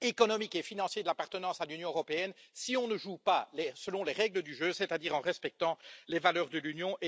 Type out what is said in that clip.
économiques et financiers de l'appartenance à l'Union européenne si on ne joue pas l'air selon les règles du jeu, c'est à dire en respectant les valeurs de l'Union.